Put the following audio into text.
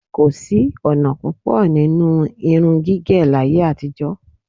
Kò sí ọ̀nà púpọ̀ nínú irun gígẹ̀ láyé-àtijọ.